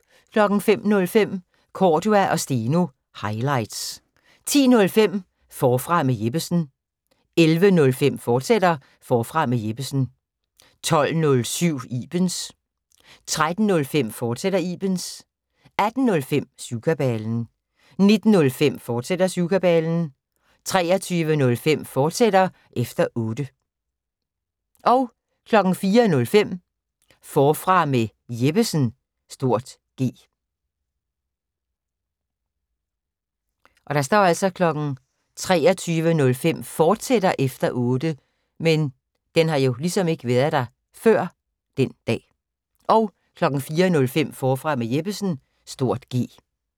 05:05: Cordua & Steno – highlights 10:05: Forfra med Jeppesen 11:05: Forfra med Jeppesen, fortsat 12:07: Ibens 13:05: Ibens, fortsat 18:05: Syvkabalen 19:05: Syvkabalen, fortsat 23:05: Efter Otte, fortsat 04:05: Forfra med Jeppesen (G)